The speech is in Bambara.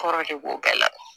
Kɔrɔ de b'o bɛɛ la